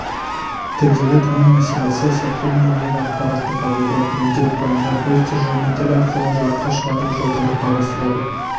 тілдегі таным мәселесі сыртқы дүниедегі ақпаратты қабылдап өңдеп пайымдап өз тұжырымын тіл арқылы жарыққа шығару жолдарын қарастырады